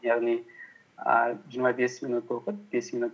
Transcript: яғни і жиырма бес минут оқып бес минут